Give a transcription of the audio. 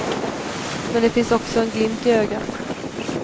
Men det finns också en glimt i ögat.